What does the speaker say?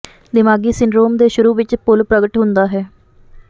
ਦਿਮਾਗੀ ਸਿੰਡਰੋਮ ਦੇ ਸ਼ੁਰੂ ਵਿਚ ਭੁੱਲ ਪ੍ਰਗਟ ਹੁੰਦਾ ਹੈ